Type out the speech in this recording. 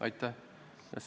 Aitäh!